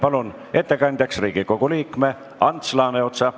Palun ettekandjaks Riigikogu liikme Ants Laaneotsa.